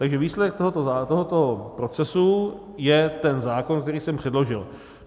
Takže výsledek tohoto procesu je ten zákon, který jsem předložil.